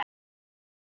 Ekki mín.